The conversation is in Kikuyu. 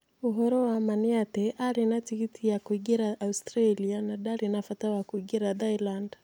Ũhoro wa ma nĩ atĩ aarĩ na tigiti ya gũthiĩ Australia na ndarĩ na bata wa kũingĩra Thailand